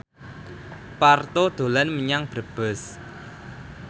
Parto dolan menyang Brebes